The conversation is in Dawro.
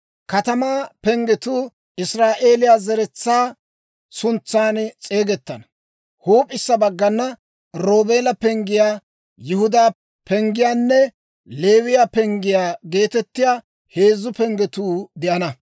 Katamaa penggetuu Israa'eeliyaa Zeretsaa suntsaan s'eegetana. Huup'isa baggana; Roobeela penggiyaa, Yihudaa penggiyaanne Leewiyaa penggiyaa geetettiyaa heezzu penggetuu de'ana.